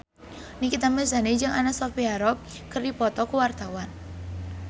Nikita Mirzani jeung Anna Sophia Robb keur dipoto ku wartawan